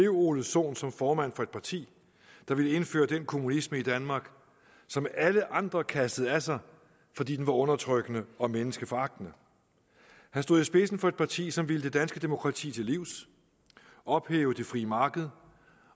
ole sohn som formand for et parti der ville indføre den kommunisme i danmark som alle andre kastede af sig fordi den var undertrykkende og menneskeforagtende han stod i spidsen for et parti som ville det danske demokrati til livs ophæve det frie marked